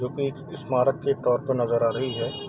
जो की स्मारक के तौर पर नजर आ रही है।